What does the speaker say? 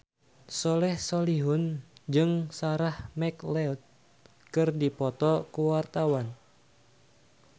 Soleh Solihun jeung Sarah McLeod keur dipoto ku wartawan